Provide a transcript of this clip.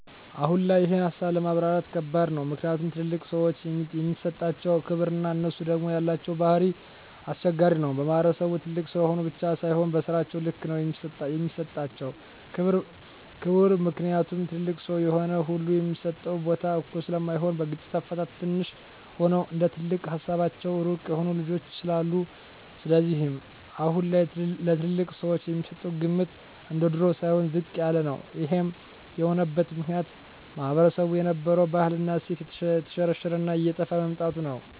አሁን ላይ ይሄን ሀሳብ ለማብራራት ከባድ ነው ምክኒያቱም ትልልቅ ሰዎችን የሚሠጣቸው ክብር እና እነሡ ደግም የላቸው ባህሪ ኘስቸጋሪ ነው በማህበረሰቡም ትልቅ ስለሆኑ ብቻ ሳይሆ በስራቸው ልክ ነው የሚሰጣቸው ክብር ምክኒያቱም ትልልቅ ሰው የሆነ ሁሉ የሚሰጠው ቦታ እኩል ስለማይሆን በግጭት አፈታትም ትንሽ ሆኖም እንደትልቅ ሀሳባቸው ሩቅ የሆኑ ልጆች ስላሉ ስለዚህም አሁን ላይ ለትልልቅ ሰወች የሚሰጠው ግምት እንደድሮው ሳይሆን ዝቅ ያለ ነው ይሄም የሆነበት ምክኒያት ማህበረሰቡ የነበረው ባህል እና እሴት የተሽረሽረ እና እየጠፍ በመምጣቱ ነው